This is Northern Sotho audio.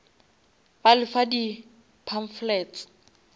ba le fa di pamphlets